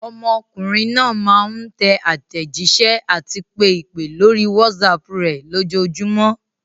Ọmọkùnrin náà máa ń tẹ àtẹ̀jísẹ́ àti pe ìpè lórí WhatsApp rẹ̀ lójoojúmọ́.